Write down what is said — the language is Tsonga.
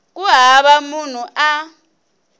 ku hava munhu loyi a